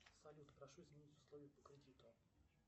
салют прошу изменить условия по кредиту